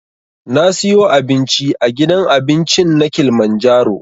Na siyo abinci a gidan abincin na kilimanjaro